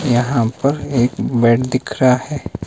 यहां पर एक बेड दिख रहा है।